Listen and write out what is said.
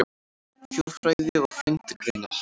Þjóðfræði og frændgreinar